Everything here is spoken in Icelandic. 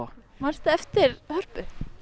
mannstu eftir Hörpu